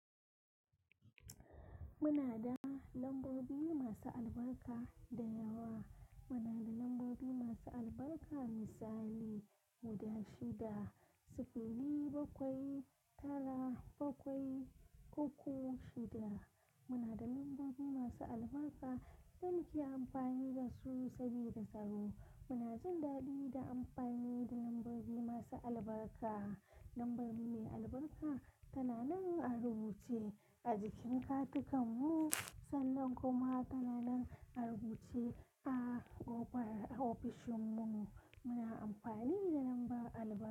Muna da lambobi masu albarka da yawa. Muna da lambobi masu albarka misali guda shida, sifili bakwai, tara bakwai, koko shida. Muna da lambobi masu albarka da muke amfani da su saboda tsaro. Muna jin daɗi da amfani da lambobi masu albarka. Lambar mu mai albarka tana nan a rubuce a jikin katikan mu sannan kuma tana nan a rubuce a ƙofar ofishin mu. Muna amfani da lamba albarka.